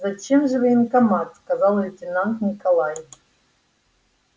зачем же в военкомат сказал лейтенант николай